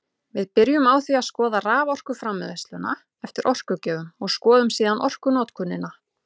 Við byrjum á því að skoða raforkuframleiðsluna eftir orkugjöfum og skoðum síðan orkunotkunina.